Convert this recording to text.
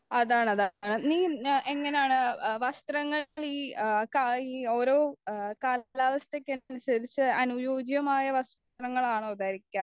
അതാണ് അതാണ് നീ എങ്ങനാണ് വസ്ത്രങ്ങൾഓരോ കാലാവസ്ഥക്കും അനുസരിച്ച് അനുയോജ്യമായ വസ്ത്രങ്ങളാണോ ധരിക്കുക